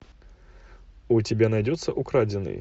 у тебя найдется украденные